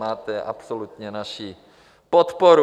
Máte absolutně naši podporu.